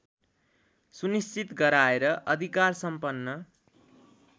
सुनिश्चित गराएर अधिकारसम्पन्न